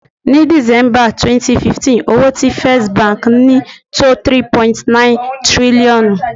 Ni December 2015, owó tí First Bank ni tó 3.9 tírílọ́ọ̀nù.